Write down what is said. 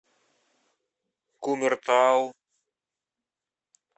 кумертау